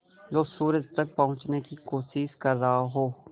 जो सूरज तक पहुँचने की कोशिश कर रहा हो